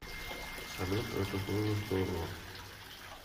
салют это было здорово